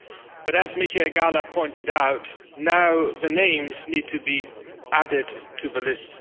but as Mr Michael Gahler pointed out, now the names need to be added to the list.